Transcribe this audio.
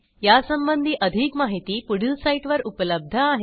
यासंबंधी अधिक माहिती पुढील साईटवर उपलब्ध आहे